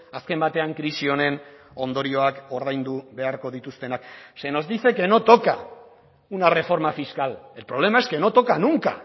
azken batean krisi honen ondorioak ordaindu beharko dituztenak se nos dice que no toca una reforma fiscal el problema es que no toca nunca